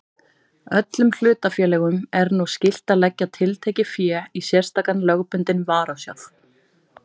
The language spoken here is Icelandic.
Öllum hlutafélögum er nú skylt að leggja tiltekið fé í sérstakan lögbundinn varasjóð.